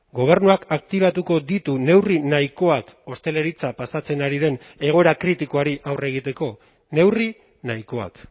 gobernuak aktibatuko ditu neurri nahikoak ostalaritza pasatzen ari den egoera kritikoari aurre egiteko neurri nahikoak